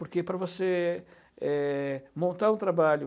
Porque para você é montar um trabalho